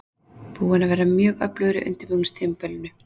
Búinn að vera mjög öflugur á undirbúningstímabilinu.